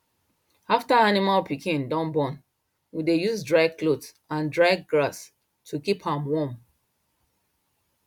after animal pikin don born we dey use dry cloth and dry grass keep am warm